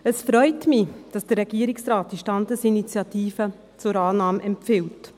Es freut mich, dass der Regierungsrat diese Standesinitiative zur Annahme empfiehlt.